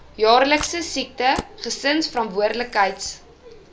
jaarlikse siekte gesinsverantwoordelikheids